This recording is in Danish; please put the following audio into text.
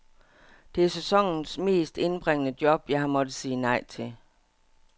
Det er sæsonens mest indbringende job, jeg har måttet sige nej til.